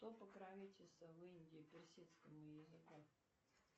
кто покровительствовал в индии персидскому языку